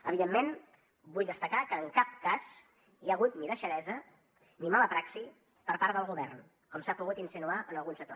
evidentment vull destacar que en cap cas hi ha hagut ni deixadesa ni mala praxi per part del govern com s’ha pogut insinuar en algun sector